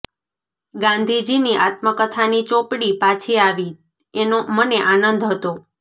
ગાંધીજીની આત્મકથાની ચોપડી પાછી આવી એનો મને આનંદ હતો